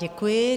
Děkuji.